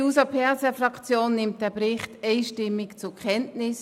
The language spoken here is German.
Die SP-JUSO-PSA-Fraktion nimmt den Bericht einstimmig zur Kenntnis.